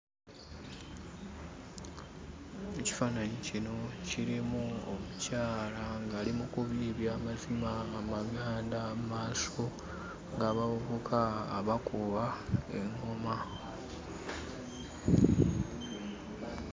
Ekifaananyi kino kirimu omukyala ng'ali mu kubiibya amazina amaganda mu maaso g'abavubuka abakuba eŋŋoma.